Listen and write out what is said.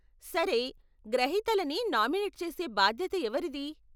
సరే, గ్రహీతలని నామినెట్ చేసే భాద్యత ఎవరిది?